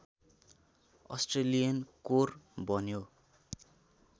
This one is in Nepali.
अस्ट्रेलियन कोर बन्यो